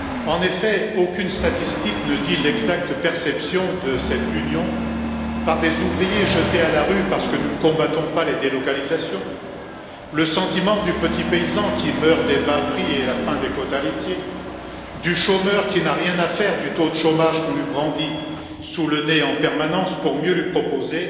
En effet, aucune statistique ne dit l'exacte perception de cette Union par des ouvriers jetés à la rue parce que nous ne combattons pas les délocalisations, le sentiment du petit paysan qui meurt des bas prix et de la fin des quotas laitiers, du chômeur qui n'a rien à faire du taux de chômage qu'on lui brandit sous le nez en permanence pour mieux lui proposer